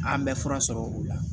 An bɛ fura sɔrɔ o la